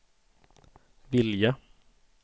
vilja